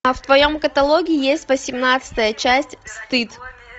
а в твоем каталоге есть восемнадцатая часть стыд